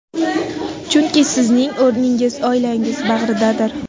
Chunki sizning o‘rningiz oilangiz bag‘ridadir.